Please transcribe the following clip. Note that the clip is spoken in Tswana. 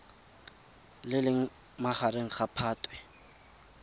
le leng magareng ga phatwe